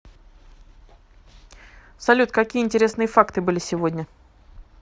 салют какие интересные факты были сегодня